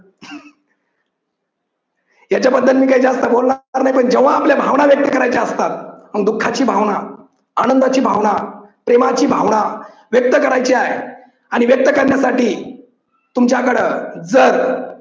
याच्याबद्दल मी जास्त काही बोलणार नाही पण जेव्हा आपल्या भावना व्यक्त करायच्या असतात दुःखाची भावना, आनंदाची भावना, प्रेमाची भावना व्यक्त करायची हाय आणि व्यक्त करण्यासाठी तुमच्याकड जर